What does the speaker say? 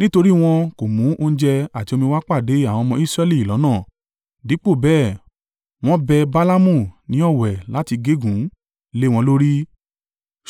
Nítorí wọn kò mú oúnjẹ àti omi wá pàdé àwọn ọmọ Israẹli lọ́nà, dípò bẹ́ẹ̀, wọ́n bẹ Balaamu ní ọ̀wẹ̀ láti gégùn ún lé wọn lórí.